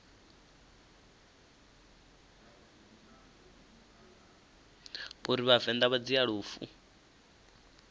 uri vhavenḓa vha dzhia lufu